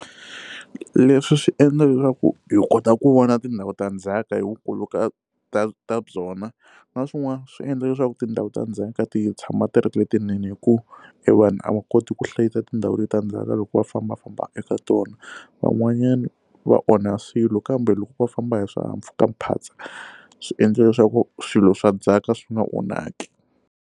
Leswi swi endla leswaku hi kota ku vona tindhawu ta ndzhaka hi vukulu ka ka ka byona na swin'wana swi endla leswaku tindhawu ta ndzhaka ti tshama ti ri letinene hikuva e vanhu a va kona koti ku hlayisa tindhawu letiya ta ndzhaka loko va fambafamba eka tona van'wanyana va onha swilo kambe loko va famba hi swihahampfhukaphatsa swi endle leswaku swilo swa ndzhaka swi nga onhaki.